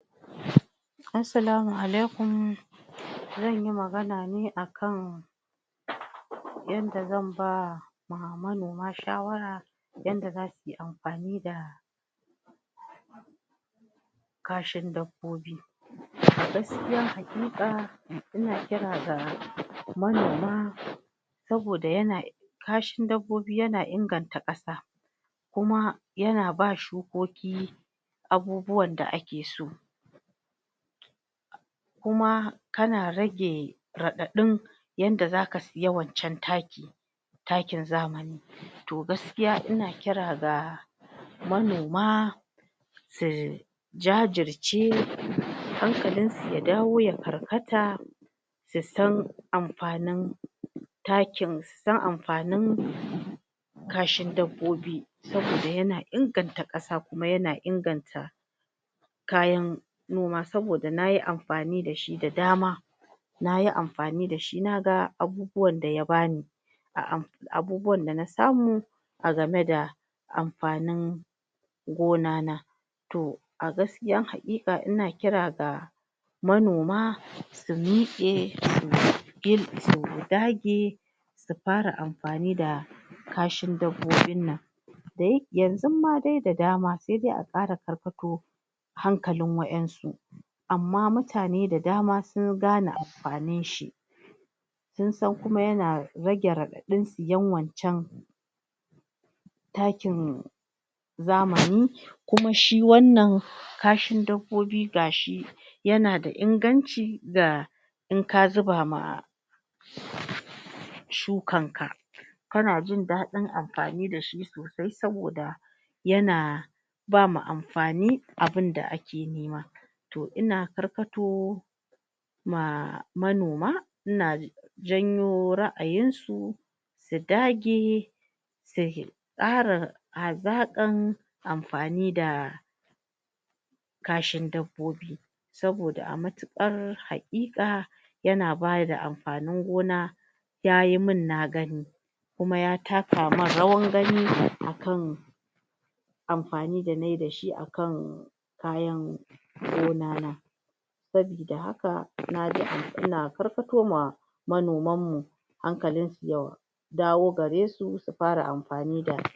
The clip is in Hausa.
Assalamu alaikum zanyi magana ne akan yanda zan ba ma manoma shawara yanda za suyi amfani da kashin dabbobi gaskiya hakika ina kira ga manaoma saboda yana kashin dabbobi yana inganta ƙasa kuma yana ba shukoki abubuwan da ake so kuma tana rage raɗadin yanda zaka siya waccan taki takin zamani toh gaskiya ina kira ga manoma su jajirce hankalin su ya dawo ya karkata su san amfanin takin su san amfanin kashin dabbobi, saboda yana inganta ƙasa kuma yana inganta kayan noma saboda nayi amfani da shi da dama nayi amfani dashi naga abubuwan da ya bani abubuwan dana samu a game da amfanin gona na toh a gaskiyan hakika ina kira ga manoma su mike su dage su fara amfani da kashin dabbobin nan yanzu ma de da dama se de a kara karkato hankalin wayansu amma mutane da dama sun gane amfanin shi sun san kuma yana rage raɗadin siyan wanccan takin zamani kuma shi wannan kashin dabbobi gashi yana da inganci da inka zuba ma shukan ka kana jin dadin amfani dashi sosai saboda yana bama amfanin abun da ake nema toh ina karkato ma monama ina janyo ra'ayin su su dage su ƙara azanƙan amfani da kashin dabbobi saboda a mutuƙar haƙika yana bada amfanin gona yayi mun na gani kuma ya taka man rawar gani akan amfani game dashi akan kayan gona na sabida haka nayi amfani ina karkato ma manoman mu hankalin su ya dawo gare su su fara amfani da.